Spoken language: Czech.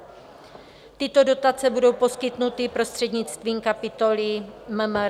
Tyto dotace budou poskytnuty prostřednictvím kapitoly MMR.